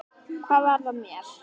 Hvað varð af mér?